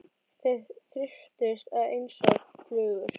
Þeir þyrptust að mér einsog flugur.